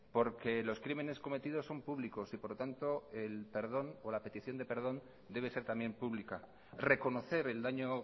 porque los crímenes cometidos son públicos y por lo tanto el perdón o la petición de perdón debe ser también pública reconocer el daño